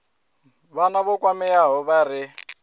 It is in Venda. vhana vho kwameaho vha re